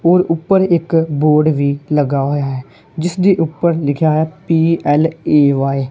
ਹੋਰ ਊਪਰ ਇੱਕ ਬੋਰਡ ਵੀ ਲੱਗਾ ਹੋਇਆ ਹੈ ਜਿਸਦੇ ਊਪਰ ਲਿਖੇਆ ਹੋਇਆ ਪੀ_ਏਲ_ਏ_ਵਾਇ ।